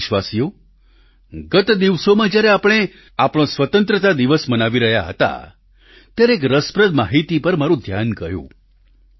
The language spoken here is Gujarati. પ્રિય દેશવાસીઓ ગત દિવસોમાં જ્યારે આપણે આપણો સ્વતંત્રતા દિવસ મનાવી રહ્યા હતાત્યારે એક રસપ્રદ માહિતી પર મારું ધ્યાન ગયું